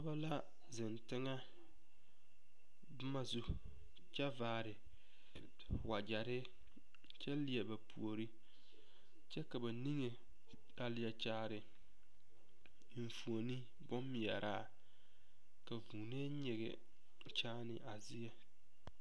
Pɔge la zeŋ teŋɛ boma su kyɛ vaare wagyere kyɛ leɛ ba puori kyɛ ka ba niŋe a leɛ kyaare enfuoni bommeɛraa ka vuuni nyige kyaani a zie.